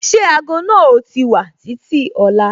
Ṣé ago náà o ti wà títí ọ̀la?